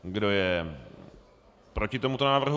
Kdo je proti tomuto návrhu?